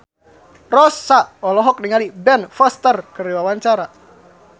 Rossa olohok ningali Ben Foster keur diwawancara